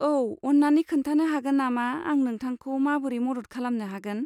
औ, अन्नानै खोन्थानो हागोन नामा आं नोंथांखौ माबोरै मदद खालामनो हागोन?